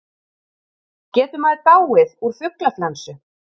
Getur maður dáið úr fuglaflensu?